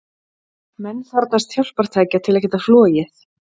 Menn þarfnast hjálpartækja til að geta flogið.